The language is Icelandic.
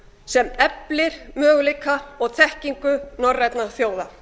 sem eflir möguleika og þekkingu norrænna þjóða